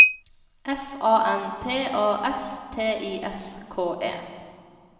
F A N T A S T I S K E